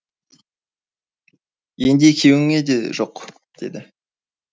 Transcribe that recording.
енді екеуіңе де жоқ деді